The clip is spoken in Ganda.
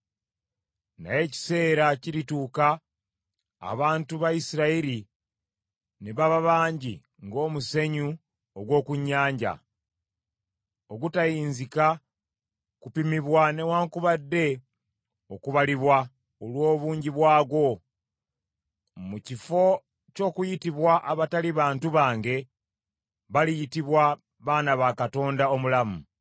“Naye ekiseera kirituuka abantu ba Isirayiri ne baba bangi ng’omusenyu ogw’oku nnyanja, ogutayinzika kupimibwa newaakubadde okubalibwa olw’obungi bwagwo. Mu kifo ky’okuyitibwa abatali bantu bange, baliyitibwa, baana ba Katonda omulamu.